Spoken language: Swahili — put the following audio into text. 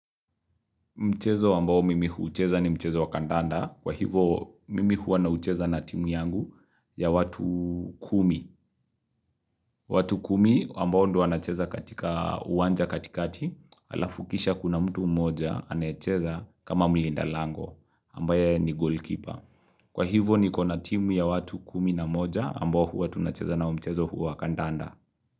Mchezo ambao mimi hucheza ni mchezo wa kandanda. Kwa hivo mimi huwa nacheza na timu yangu ya watu kumi. Watu kumi ambao ndo anacheza katika uwanja katikati alafu kisha kuna mtu moja anacheza kama mlinda lango ambaye ni goalkeeper. Kwa hivo ni kona timu ya watu kumi na moja ambao huu anacheza na mchezo huu wakandanda.